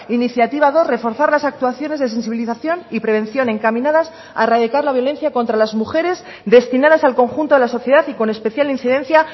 iniciativa dos reforzar las actuaciones de sensibilización y prevención encaminadas a erradicar la violencia contra las mujeres destinadas al conjunto de la sociedad y con especial incidencia